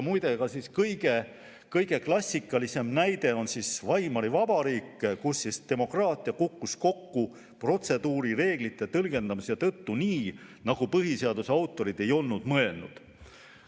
Muide, kõige klassikalisem näide on Weimari Vabariik, kus demokraatia kukkus kokku seepärast, et protseduurireegleid tõlgendati nii, nagu põhiseaduse autorid ei olnud mõelnud.